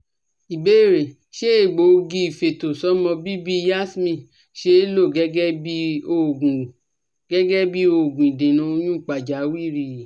Ìbéèrè: Ṣé egbogi ifeto somo bibi Yasmin see lo gẹ́gẹ́ bí oògùn gẹ́gẹ́ bí oògùn idena oyun pajawiri?